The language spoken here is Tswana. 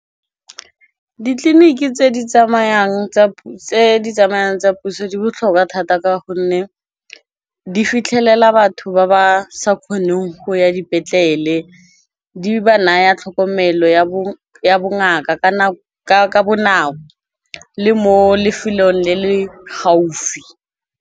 Ditleliniki tse di tsamayang tsa puso, di botlhokwa thata ka gonne, di fitlhelela batho ba ba sa kgoneng go ya dipetlele. Di ba naya tlhokomelo ya bongaka, ka bonako le mo lefelong le le gaufi.